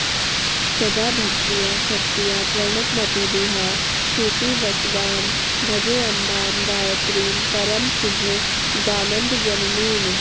सदा भक्त्या शक्त्या प्रणतमतिभिः प्रीतिवशगां भजेऽम्बां गायत्रीं परमसुभगानन्दजननीम्